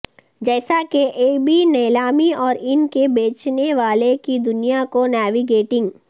جیسا کہ eBay نیلامی اور ان کے بیچنے والے کی دنیا کو نیویگیٹنگ